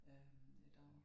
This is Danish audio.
Øh i dag